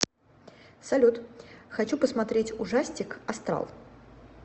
салют хочу посмотреть ужастик астрал